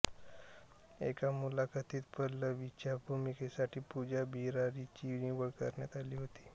एका मुलाखतीत पल्लवीच्या भूमिकेसाठी पूजा बिरारीची निवड करण्यात आली होती